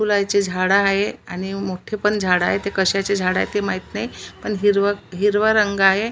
फुलाची झाड आहे आणि मोठे पण झाड आहे ते कशाचे झाड आहे ते माहिती नाही पण हिरव हिरव रंग आहे.